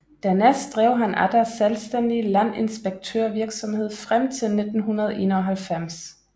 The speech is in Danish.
Dernæst drev han atter selvstændig landinspektørvirksomhed frem til 1991